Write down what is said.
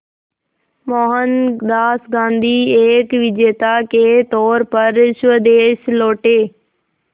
मोहनदास गांधी एक विजेता के तौर पर स्वदेश लौटे